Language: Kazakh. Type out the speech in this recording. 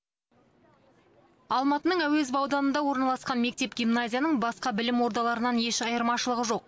алматының әуезов ауданында орналасқан мектеп гимназияның басқа білім ордаларынан еш айырмашылығы жоқ